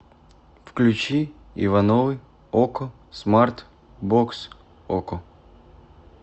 включи ивановы окко смарт бокс окко